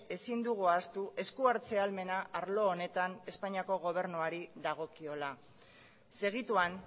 ezin dugu ahaztu eskuhartze ahalmena arlo honetan espainiako gobernuari dagokiola segituan